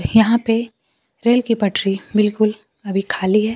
यहां पे रेल के पटरी बिल्कुल अभी ख़ाली है।